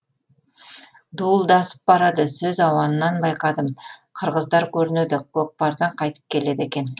дуылдасып барады сөз ауанынан байқадым қырғыздар көрінеді көкпардан қайтып келеді екен